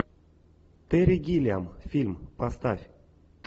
терри гиллиам фильм поставь